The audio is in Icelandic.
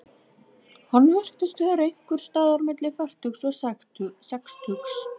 Hann virtist vera einhvers staðar milli fertugs og sextugs.